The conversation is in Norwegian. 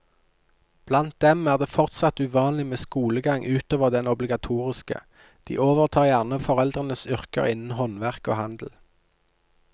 Blant dem er det fortsatt uvanlig med skolegang utover den obligatoriske, de overtar gjerne foreldrenes yrker innen håndverk og handel.